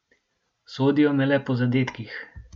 Sodijo me le po zadetkih.